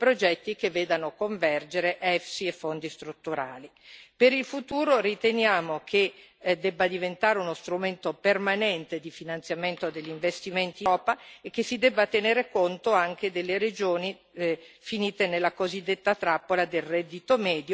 Per il futuro riteniamo che debba diventare uno strumento permanente di finanziamento degli investimenti in Europa e che si debba tenere conto anche delle regioni finite nella cosiddetta trappola del reddito medio, per le quali mancano proprio importanti investimenti strutturali.